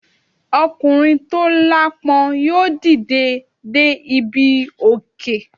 Ọkùnrin tó aláápọn yóò dìde dé ibi òkè.